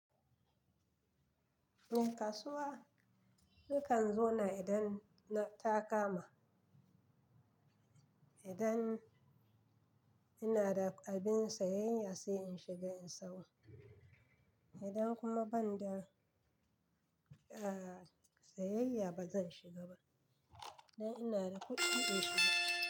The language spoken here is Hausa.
Eh kasuwa nakan zo na idan ta kama, idan ina da abin sayayya sai in shiga in sayo. Idan kuma banda a sayayya ba zan shiga ba, idan ina da kuɗi in shiga.